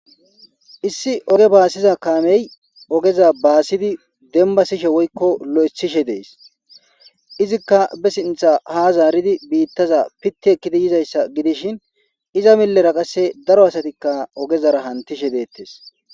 Issi oge baasiza kaamey ogeza baasidi dembasishe woykko lo7esishe dees izikka be sintha ha zaaridi biittaza pitti ekkidi yizayssa gidishin iza milera qasse daro asatikka ogezara hantishe deettes.